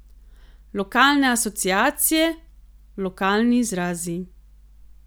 Lokalne asociacije, lokalni izrazi.